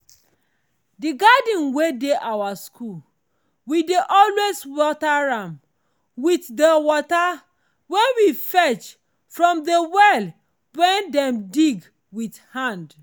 the garden wen dey our school we dey always water am wit de wata wen we fetch from de well wen dem dig wit hand.